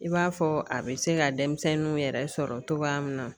I b'a fɔ a bɛ se ka denmisɛnninw yɛrɛ sɔrɔ cogoya min na